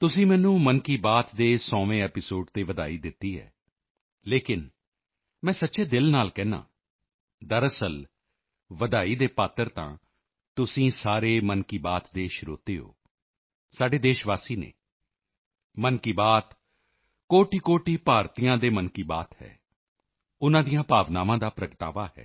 ਤੁਸੀਂ ਮੈਨੂੰ ਮਨ ਕੀ ਬਾਤ ਦੇ 100ਵੇਂ ਐਪੀਸੋਡ ਤੇ ਵਧਾਈ ਦਿੱਤੀ ਹੈ ਲੇਕਿਨ ਮੈਂ ਸੱਚੇ ਦਿਲ ਨਾਲ ਕਹਿੰਦਾ ਹਾਂ ਦਰਅਸਲ ਵਧਾਈ ਦੇ ਪਾਤਰ ਤਾਂ ਤੁਸੀਂ ਸਾਰੇ ਮਨ ਕੀ ਬਾਤ ਦੇ ਸਰੋਤੇ ਹੋ ਸਾਡੇ ਦੇਸ਼ਵਾਸੀ ਹਨ ਮਨ ਕੀ ਬਾਤ ਕੋਟਿਕੋਟਿ ਭਾਰਤੀਆਂ ਦੇ ਮਨ ਕੀ ਬਾਤ ਹੈ ਉਨ੍ਹਾਂ ਦੀਆਂ ਭਾਵਨਾਵਾਂ ਦਾ ਪ੍ਰਗਟਾਵਾ ਹੈ